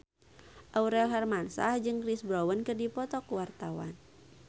Aurel Hermansyah jeung Chris Brown keur dipoto ku wartawan